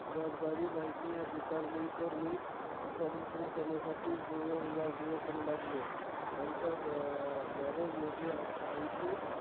जबाबदारी माहित नाही. स्वीकारली, तर मी उत्पादन सुरु करण्यासाठी जुळवाजुळव करू लागलो. आमच्या अं garage मध्ये आज आमची